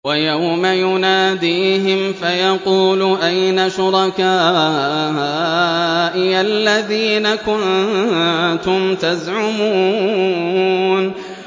وَيَوْمَ يُنَادِيهِمْ فَيَقُولُ أَيْنَ شُرَكَائِيَ الَّذِينَ كُنتُمْ تَزْعُمُونَ